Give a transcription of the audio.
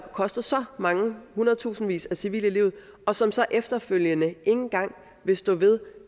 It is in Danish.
kostet så mange hundredtusindvis af civile livet og som så efterfølgende ikke engang vil stå ved